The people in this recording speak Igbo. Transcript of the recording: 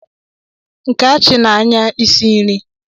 Nkeachi n'anya isi nri